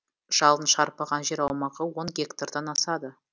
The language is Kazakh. жалын шарпыған жер аумағы он гектардан асады